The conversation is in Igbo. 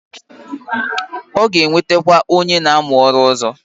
O ga-ewetekwa onye na amu oru ozo.